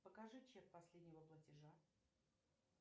покажи чек последнего платежа